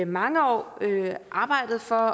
mange år arbejdet for